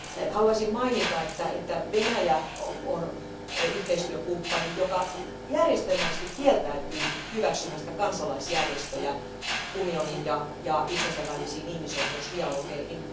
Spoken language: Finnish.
Haluaisin mainita, että Venäjä on yhteistyökumppani, joka järjestelmällisesti kieltäytyy hyväksymästä kansalaisjärjestöjä unionin ja itsensä välisiin ihmisoikeusdialogeihin.